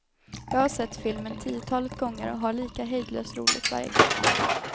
Jag har sett filmen tiotalet gånger och har lika hejdlöst roligt varje gång.